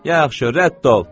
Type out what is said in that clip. Yaxşı rədd ol!